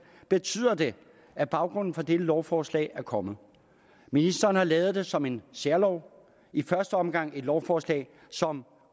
betyder det at baggrunden for dette lovforslag er kommet ministeren har lavet forslaget som en særlov i første omgang som et lovforslag som